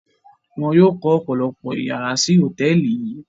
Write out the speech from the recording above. Wọ́n yóò kọ́ ọ̀pọ̀lọpọ̀ ìyàrá sí hòtẹ́ẹ́lì yíì.